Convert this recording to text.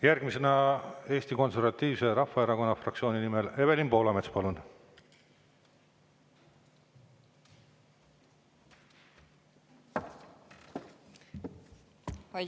Järgmisena Eesti Konservatiivse Rahvaerakonna fraktsiooni nimel Evelin Poolamets, palun!